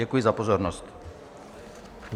Děkuji za pozornost.